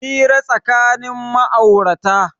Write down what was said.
Hira tsakanin ma'aurata